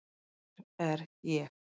Hver er ég?